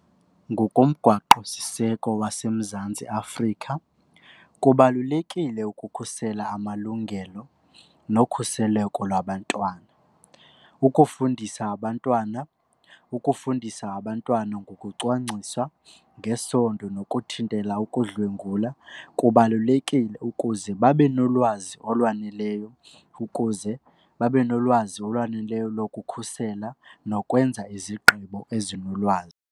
Ngokomgwaqosiseko waseMzantsi Afrika kubalulekile ukukhusela amalungelo nokhuseleko lwabantwana. Ukufundisa abantwana, ukufundisa abantwana ngokucwangcisa ngesondo nokuthintela ukudlwengula kubalulekile ukuze babe nolwazi olwaneleyo ukuze babe nolwazi olwaneleyo lokukhusela nokwenza izigqibo ezinolwazi.